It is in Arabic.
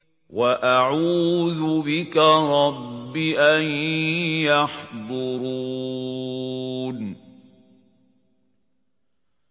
وَأَعُوذُ بِكَ رَبِّ أَن يَحْضُرُونِ